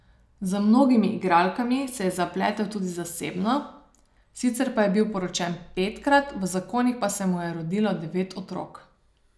Z mnogimi igralkami se je zapletel tudi zasebno, sicer pa je bil poročen petkrat, v zakonih pa se mu je rodilo devet otrok.